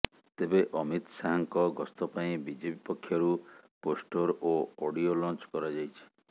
ତେବେ ଅମିତ ଶାହାଙ୍କ ଗସ୍ତ ପାଇଁ ବିଜେପି ପକ୍ଷରୁ ପୋଷ୍ଟର ଓ ଅଡ଼ିଓ ଲଂଚ କରାଯାଇଛି